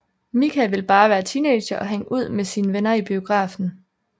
Mika vil bare være teenager og hænge ud med sine venner i biografen